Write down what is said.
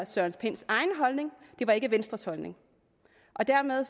søren pinds egen holdning det var ikke venstres holdning dermed